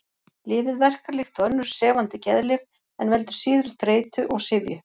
Lyfið verkar líkt og önnur sefandi geðlyf en veldur síður þreytu og syfju.